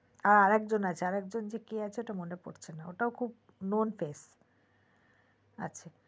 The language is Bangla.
আর আর একজন কে আছে ওটা মনে পড়ছে না ওটাও খুব known face